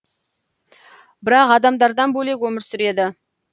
бірақ адамдардан бөлек өмір сүреді